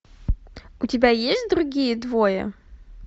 у тебя есть другие двое